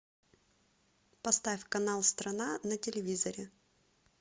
поставь канал страна на телевизоре